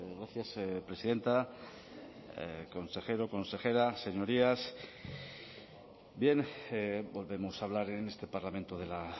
gracias presidenta consejero consejera señorías bien volvemos a hablar en este parlamento de la